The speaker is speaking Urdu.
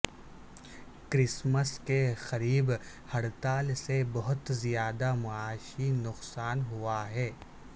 کرسمس کے قریب ہڑتال سے بہت زیادہ معاشی نقصان ہوا ہے